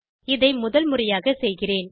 இதை முதல் முறையாகச் செய்கிறேன்